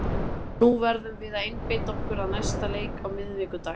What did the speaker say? Nú verðum við að einbeita okkur að næsta leik á miðvikudag.